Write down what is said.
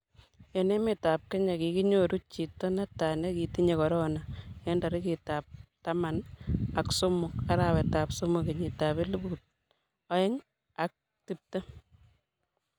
eng' emetab Kenya kikinyoru chito ne tai ne kitinye korona eng' tarikitabtaman ak somok, arawetab somok kenyitab elput oeng' ak tiptem